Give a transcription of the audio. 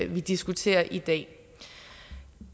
vi diskuterer i dag